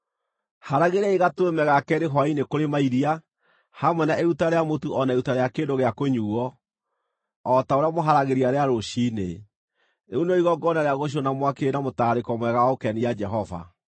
Haragĩriai gatũrũme ga keerĩ hwaĩ-inĩ kũrĩ mairia hamwe na iruta rĩa mũtu o na iruta rĩa kĩndũ gĩa kũnyuuo o ta ũrĩa mũharagĩria rĩa rũciinĩ. Rĩu nĩrĩo igongona rĩa gũcinwo na mwaki rĩrĩ na mũtararĩko mwega wa gũkenia Jehova.